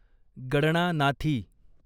गडणानाथी